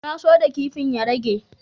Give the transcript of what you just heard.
Na so da kipin ya rage.